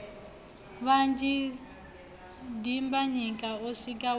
vhanzhi dimbanyika o swi wa